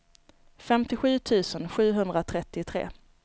femtiosju tusen sjuhundratrettiotre